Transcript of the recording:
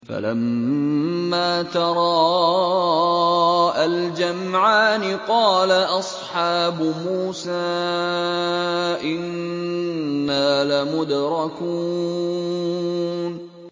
فَلَمَّا تَرَاءَى الْجَمْعَانِ قَالَ أَصْحَابُ مُوسَىٰ إِنَّا لَمُدْرَكُونَ